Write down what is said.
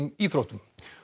íþróttum